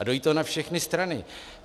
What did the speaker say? A dojí to na všechny strany.